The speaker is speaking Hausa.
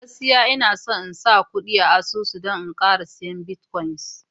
gaskiya Ina son in sa kudi a asusu don in Kara siya "Bitcoin "